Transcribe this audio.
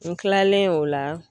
N kilalen o la